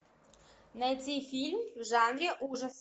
найти фильм в жанре ужасы